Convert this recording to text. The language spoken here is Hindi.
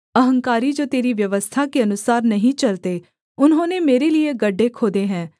अहंकारी जो तेरी व्यवस्था के अनुसार नहीं चलते उन्होंने मेरे लिये गड्ढे खोदे हैं